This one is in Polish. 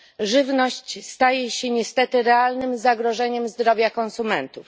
Żywność staje się niestety realnym zagrożeniem zdrowia konsumentów.